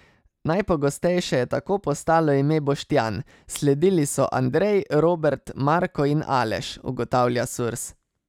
Najpogostejše je tako postalo ime Boštjan, sledili so Andrej, Robert, Marko in Aleš, ugotavlja Surs.